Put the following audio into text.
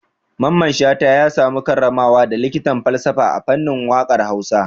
Mamman Shata ya samu karramawa da likitan falsafa a fannin waƙar Hausa.